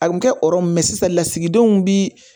A bɛ kɛ ɔrɔ ye sisan lasigidenw bi